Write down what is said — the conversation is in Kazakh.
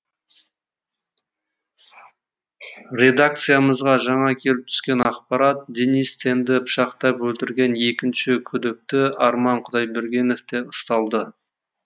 редакциямызға жаңа келіп түскен ақпарат денис тенді пышақтап өлтірген екінші күдікті арман құдайбергенов те ұсталды